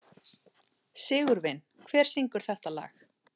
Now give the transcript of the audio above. Sigurvin, hver syngur þetta lag?